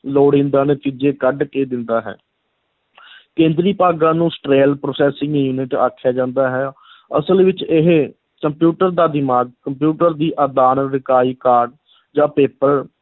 ਲੋੜੀਂਦਾ ਨਤੀਜੇ ਕੱਢ ਕੇ ਦਿੰਦਾ ਹੈ ਕੇਂਦਰੀ ਭਾਗਾਂ ਨੂੰ central processing unit ਆਖਿਆ ਜਾਂਦਾ ਹੈ ਅਸਲ ਵਿੱਚ ਇਹ ਕੰਪਿਊਟਰ ਦਾ ਦਿਮਾਗ, ਕੰਪਿਊਟਰ ਦੀ ਆਦਾਨ ਇਕਾਈ card ਜਾਂ paper